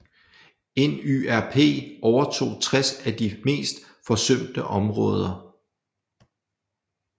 NYRP overtog 60 af de mest forsømte områder